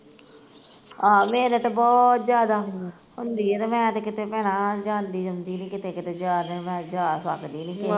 ਆਹ ਮੇਰੇ ਤੇ ਬਹੁਤ ਜਿਆਦਾ ਹੁੰਦੀਐ, ਤੇ ਮੈਂ ਤੇ ਕਿਤੇ ਭੈਣਾਂ ਜਾਂਦੀ ਆਉਂਦੀ ਨੀ ਕਿਤੇ ਕਿਤੇ ਜਾਦਾ ਜਾਂ ਆ ਮੈਂ ਸਕਦੀ ਨੀਗੀ ਆਹ